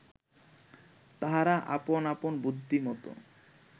তাঁহারা আপন আপন বুদ্ধিমত